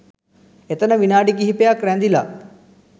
එතන විනාඩි කිහිපයක් රැඳිලා